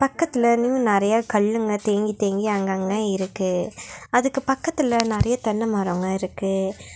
பக்கத்துல நிங்கு நெறையா கல்லுங்க தேங்கி தேங்கி அங்கங்க இருக்கு அதுக்கு பக்கத்துல நெறையா தென்ன மரோங்க இருக்கு.